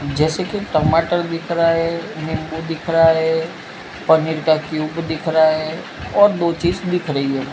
जैसे के टमाटर दिख रहा है नींबू दिख रहा है पनीर का क्यूब दिख रहा है और दो चीज दिख रही है।